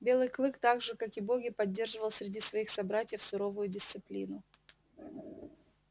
белый клык так же как и боги поддерживал среди своих собратьев суровую дисциплину